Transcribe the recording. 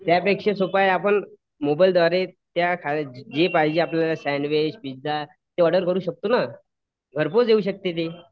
त्यापेक्षा सोपं आहे आपण मोबाईल द्वारे त्या जे पाहिजे आपल्याला सॅन्डविच पिझा ते ऑर्डर करू शकतो ना. घर पोच येऊ शकते ते.